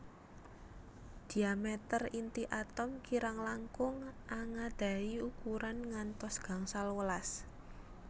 Diameter inti atom kirang langkung angadahi ukuran ngantos gangsal welas